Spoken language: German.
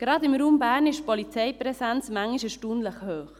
Gerade im Raum Bern ist die Polizeipräsenz manchmal erstaunlich hoch.